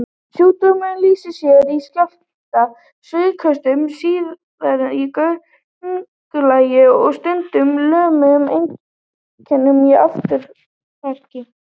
Sjúkdómurinn lýsir sér í skjálfta, svitaköstum, stirðleika í göngulagi og stundum lömun, einkum í afturparti.